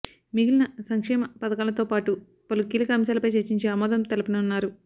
మిగిలిన సంక్షేమ పథకాలతో పాటూ పలు కీలక అంశాలపై చర్చించి ఆమోదం తెలపనున్నారు